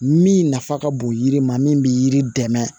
Min nafa ka bon yiri ma min bɛ yiri dɛmɛ